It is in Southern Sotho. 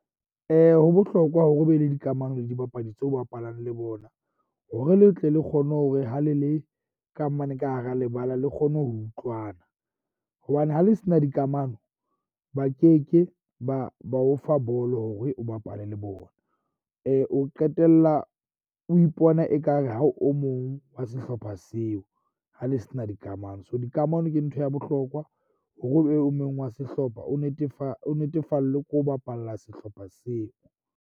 Ho bohlokwa hore o be le dikamano le dibapadi tseo o bapalang le bona, hore le tle le kgone hore ha le le kamano ka hara lebala, le kgone ho utlwana. Hobane ha le se na dikamano ba keke ba ba o fa bolo hore o bapale le bona. O qetella o ipona ekare ha o o mong wa sehlopha seo. Ha le sena dikamano so dikamano ke ntho ya bohlokwa hore o be o mong wa sehlopha o o netefallwe ko bapalla sehlopha seo.